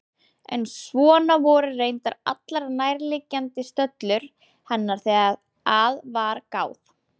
En svona voru reyndar allar nærliggjandi stöllur hennar þegar að var gáð.